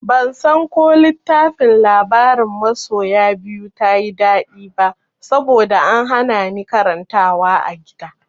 Bansan ko littafin labarin masoya biyu ta yi daɗi ba saboda an hana ni karantawa a gida.